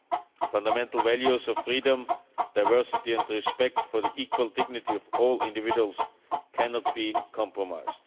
The fundamental values of freedom, diversity and respect for the equal dignity of all individuals cannot be compromised.